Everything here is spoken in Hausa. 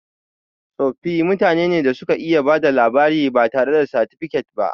Tsofi mutane ne da suka iya bada labari batare da satifikat ba